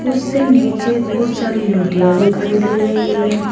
उससे नीचे बहुत सारी लोटियां दिखाई दे रही हैं।